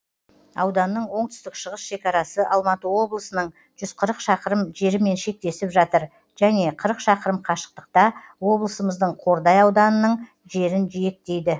ауданның оңтүстік шығыс шекарасы алматы облысының жүз қырық шақырым жерімен шектесіп жатыр және қырық шақырым қашықтықта облысымыздың қордай ауданының жерін жиектейді